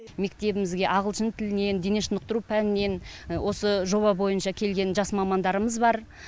мектебімізге ағылшын тілінінен дене шынықтыру пәнінен осы жоба бойынша келген жас мамандарымыз бар